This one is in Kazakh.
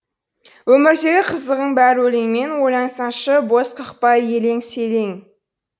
өмірдегі қызығың бәрі өлеңмен ойлансаңшы бос қақпай елең селең